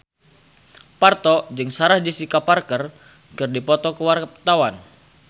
Parto jeung Sarah Jessica Parker keur dipoto ku wartawan